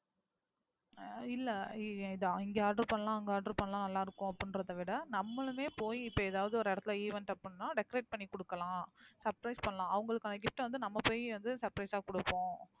இல்ல இது இங்க order பண்ணலாம், அங்க order பண்ணலாம் நல்லாருக்கும் அப்படின்றதை விட நம்மளுமே போய் இப்போ எதாவது ஒரு இடத்துல event அப்படின்னா decorate பண்ணிகுடுக்கலாம், surprise பண்ணலாம், அவங்களுக்கு gift அ வந்து நம்ம போய் வந்து surprise ஆ கொடுப்போம்.